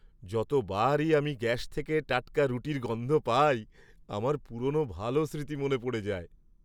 যতবারই আমি গ্যাস থেকে টাটকা রুটির গন্ধ পাই আমার পুরনো ভালো স্মৃতি মনে পড়ে যায়।